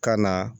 Ka na